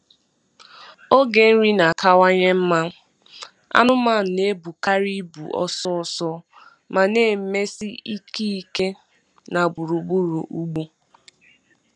Oge nri na-akawanye mma, anụmanụ na-ebukarị ibu ọsọ ọsọ ma na-emesi ike ike ike na gburugburu ugbo.